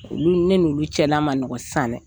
Olu ne ni olu cɛla man nɔgɔn sisan dɛ